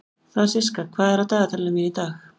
Fransiska, hvað er á dagatalinu mínu í dag?